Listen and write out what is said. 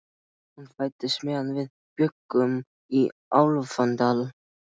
Hún fæddist meðan við bjuggum í Álfadal.